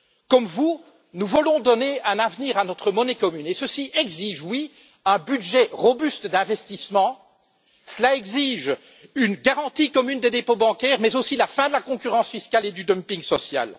Comme vous, nous voulons donner un avenir à notre monnaie commune, ce qui exige, en effet, un budget robuste d'investissement, une garantie commune des dépôts bancaires mais aussi la fin de la concurrence fiscale et du dumping social.